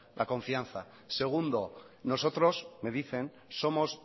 la confianza segundo nosotros me dicen somos